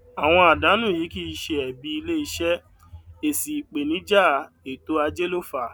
àwọn àdánù yìí kì ṣe ẹbi ilé iṣẹ èsì ìpènijà ètò ajé ló fa